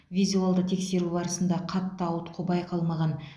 визуалды тексеру барысында қатты ауытқу байқалмаған